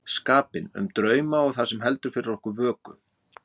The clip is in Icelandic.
skapinn, um drauma og það sem heldur fyrir okkur vöku.